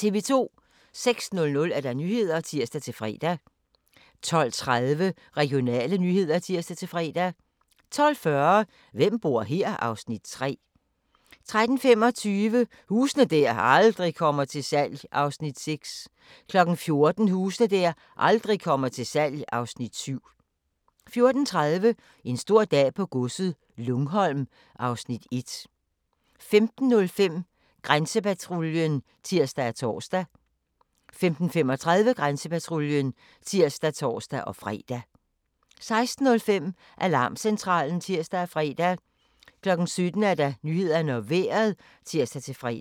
06:00: Nyhederne (tir-fre) 12:30: Regionale nyheder (tir-fre) 12:40: Hvem bor her? (Afs. 3) 13:25: Huse der aldrig kommer til salg (Afs. 6) 14:00: Huse der aldrig kommer til salg (Afs. 7) 14:30: En stor dag på godset - Lungholm (Afs. 1) 15:05: Grænsepatruljen (tir og tor) 15:35: Grænsepatruljen (tir og tor-fre) 16:05: Alarmcentralen (tir og fre) 17:00: Nyhederne og Vejret (tir-fre)